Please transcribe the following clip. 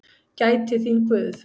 Gæti þín Guð.